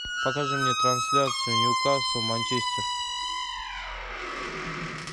покажи мне трансляцию ньюкасл манчестер